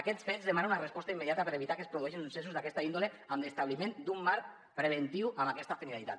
aquests fets demanen una resposta immediata per evitar que es produeixin successos d’aquesta índole amb l’establiment d’un marc preventiu amb aquesta finalitat